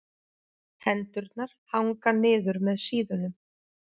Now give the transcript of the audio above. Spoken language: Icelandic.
Hendurnar hanga niður með síðunum.